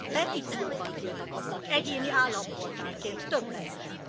Petíciókban tiltakoznak egyéni állampolgárként több ezren.